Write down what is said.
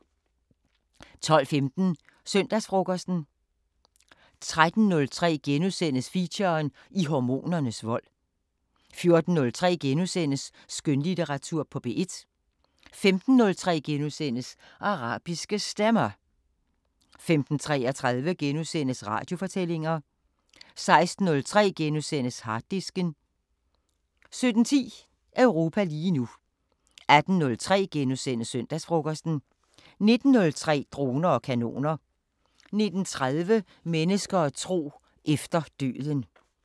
12:15: Søndagsfrokosten 13:03: Feature: I hormonernes vold * 14:03: Skønlitteratur på P1 * 15:03: Arabiske Stemmer * 15:33: Radiofortællinger * 16:03: Harddisken * 17:10: Europa lige nu 18:03: Søndagsfrokosten * 19:03: Droner og kanoner 19:30: Mennesker og tro: Efter døden